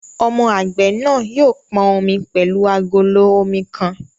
Ọmọ àgbẹ̀ náà yóò pọn omi pẹ̀lú agolo omi kan